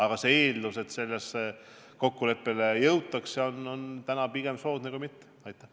Kuid eeldus, et sellele kokkuleppele jõutakse, on täna meie jaoks pigem soodne.